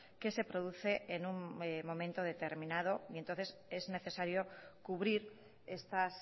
que se produce en un momento determinado y entonces es necesario cubrir estas